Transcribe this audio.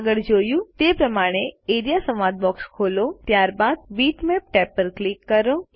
આગળ જોયું તે પ્રમાણે એઆરઇએ સંવાદ બોક્સ ખોલે છે ત્યાર બાદ બીટમેપ્સ ટેબ પર ક્લિક કરો